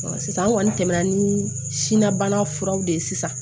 sisan an kɔni tɛmɛna ni sinabana furaw de ye sisan